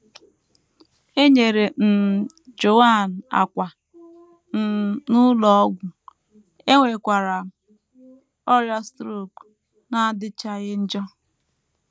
E nyere um Joan àkwà um n’ụlọ ọgwụ, enwekwara m ọrịa strok na - adịchaghị njọ.